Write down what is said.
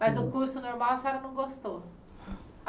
Mas o curso normal a senhora não gostou?